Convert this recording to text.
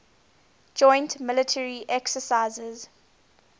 joint military exercises